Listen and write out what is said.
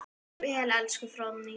Far vel elsku Fróðný.